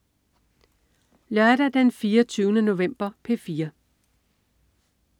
Lørdag den 24. november - P4: